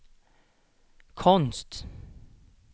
konst